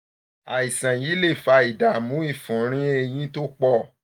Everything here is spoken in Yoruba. àìsàn yìí lè fa ìdààmú ìfunrin èyín tó pọ̀